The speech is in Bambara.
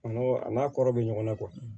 Nɔrɔ a n'a kɔrɔ bɛ ɲɔgɔn na